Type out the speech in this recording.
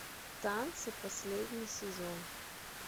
танцы последний сезон